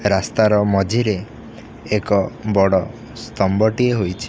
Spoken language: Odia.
ରାସ୍ତା ର ମଝିରେ ଏକ ବଡ ସ୍ତମ୍ବ ଟିଏ ହୋଇଛି।